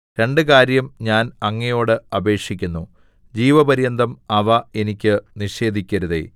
രണ്ട് കാര്യം ഞാൻ അങ്ങയോട് അപേക്ഷിക്കുന്നു ജീവപര്യന്തം അവ എനിക്ക് നിഷേധിക്കരുതേ